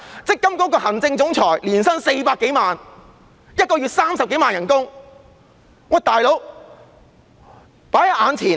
積金局行政總裁年薪400多萬元，每月薪酬30多萬元，"老兄"。